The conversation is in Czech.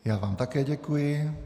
Já vám také děkuji.